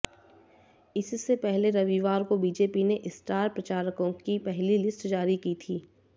इससे पहले रविवार को बीजेपी ने स्टार प्रचारकों की पहली लिस्ट जारी की थी